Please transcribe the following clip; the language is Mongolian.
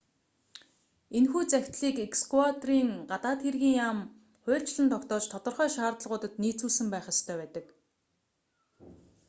энэхүү захидлыг эквадорын гадаад хэргийн яам хуульчлан тогтоож тодорхой шаардлагуудад нийцүүлсэн байх ёстой байдаг